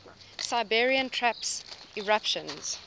siberian traps eruptions